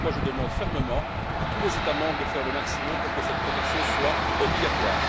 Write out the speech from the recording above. C'est pourquoi je demande fermement à tous les États membres de faire le maximum pour que cette protection soit obligatoire.